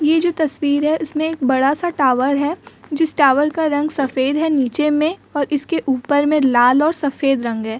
ये जो तस्वीर है इसमें एक बड़ा-सा टावर है। जिस टावर का रंग सफ़ेद है नीचे में और इसके ऊपर में लाल और सफ़ेद रंग है।